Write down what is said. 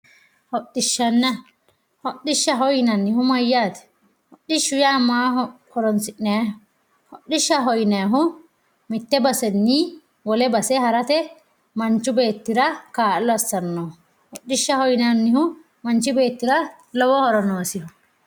Hodhishana hodhishaho yinahu isi mayate hodhishu ya isi mayira horisiniyahi hodhishaho yinayahu mitte basenni wolle base harate manchu betira kallo asanoho hodhishaho yinanihu manchi betira lowo horo nosiho